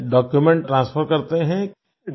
यानि document transfer करते हैं